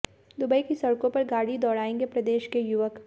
Dubai की सड़कों पर गाड़ी दौड़ाएंगे प्रदेश के युवक